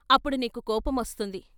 అప్పుడు నీకు కోపమొస్తుంది....